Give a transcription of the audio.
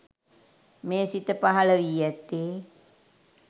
මේ සිත පහළවී ඇත්තේ